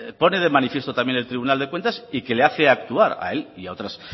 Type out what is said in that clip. pone de manifiesto también el tribunal de cuentas y que le hace actuar a él y a otras